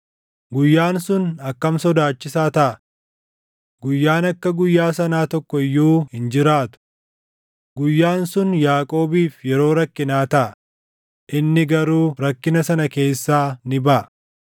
Guyyaan sun akkam sodaachisaa taʼa! Guyyaan akka guyyaa sanaa tokko iyyuu hin jiraatu. Guyyaan sun Yaaqoobiif yeroo rakkinaa taʼa; inni garuu rakkina sana keessaa ni baʼa.